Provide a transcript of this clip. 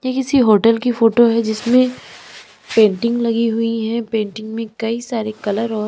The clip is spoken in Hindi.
ये किसी होटल की फोटो है जिसमें पेंटिंग लगी हुई हैं पेंटिंग में कई सारे कलर और--